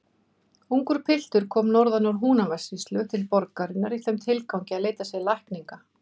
Ungur piltur kom norðan úr Húnavatnssýslu til borgarinnar í þeim tilgangi að leita sér lækninga.